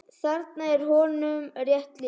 Þarna er honum rétt lýst.